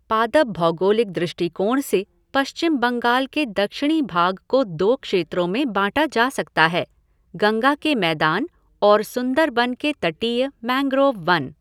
पादप भौगोलिक दृष्टिकोण से पश्चिम बंगाल के दक्षिणी भाग को दो क्षेत्रों में बांटा जा सकता हैः गंगा के मैदान और सुंदरबन के तटीय मैंग्रोव वन।